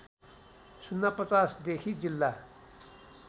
०५० देखि जिल्ला